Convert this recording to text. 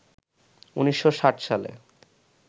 ১৬৬০ সালে